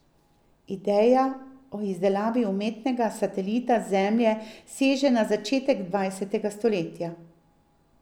Ideja o izdelavi umetnega satelita Zemlje seže na začetek dvajsetega stoletja.